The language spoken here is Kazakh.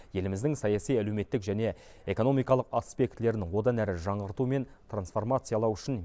еліміздің саяси әлеуметтік және экономикалық аспектілерін одан әрі жаңғырту мен трансформациялау үшін